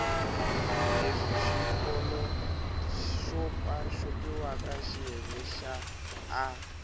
leswi xopaxopiwaka xiyenge xa a